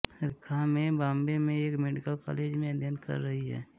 रेखा में बॉम्बे में एक मेडिकल कॉलेज में अध्ययन कर रही है